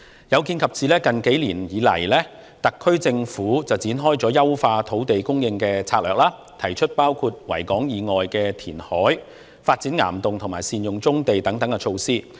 有見及此，特區政府近數年推出了優化土地供應策略，提出包括在維多利亞港以外填海、發展岩洞和善用棕地等措施。